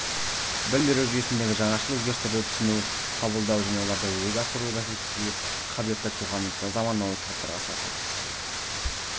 білім беру жүйесіндегі жаңашыл өзгерістерді түсіну қабылдау және оларды жүзеге асыру бәсекеге қабілетті тұлғаны заманауи талаптарға сай қалыптастыру